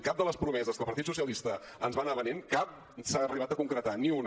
cap de les promeses que el partit socialista ens va anar venent cap s’ha arribat a concretar ni una